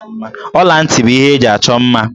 Ọla ntị bụ ihe eji achọ mma.